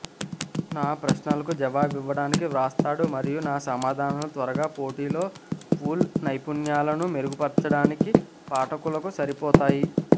నా ప్రశ్నలకు జవాబివ్వటానికి వ్రాస్తాడు మరియు నా సమాధానాలు త్వరగా పోటీలో పూల్ నైపుణ్యాలను మెరుగుపర్చడానికి పాఠకులకు సరిపోతాయి